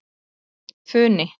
Funi